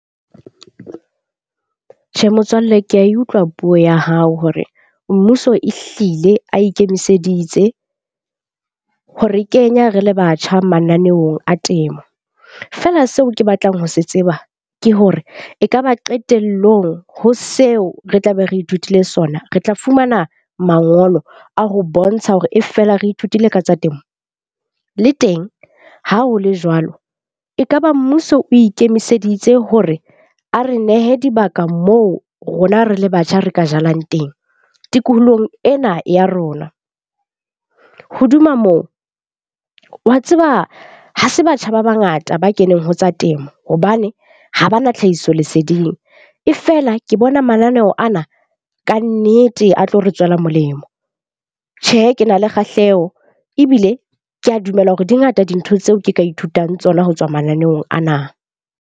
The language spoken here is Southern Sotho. Tjhe, motswalle ke ya e utlwa puo ya hao hore mmuso e hlile a ikemiseditse ho re kenya re le batjha mananeong a temo. Feela seo ke batlang ho se tseba ke hore ekaba qetellong ho seo re tlabe re ithutile sona, re tla fumana mangolo a ho bontsha hore e fela re ithutile ka tsa temo? Le teng ha ho le jwalo, e kaba mmuso o ikemiseditse hore a re nehe dibaka moo rona re le batjha, re ka jalang teng? Tikolohong ena ya rona. Hodima moo, wa tseba ha se batjha ba bangata ba keneng ho tsa temo. Hobane ha ba na tlhahisoleseding e fela ke bona mananeo ana kannete a tlo re tswela molemo. Tjhe, ke na le kgahleho ebile ke a dumela hore di ngata dintho tseo ke ka ithutang tsona ho tswa mananeong ana.